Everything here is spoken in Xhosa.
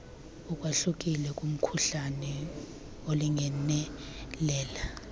ukwahlukile kumkhuhlane olingenelela